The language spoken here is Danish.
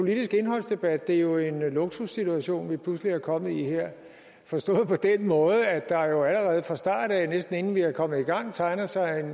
politiske indholdsdebat er det jo en luksussituation vi pludselig er kommet i her forstået på den måde at der jo allerede fra starten af næsten inden vi er kommet i gang tegner sig en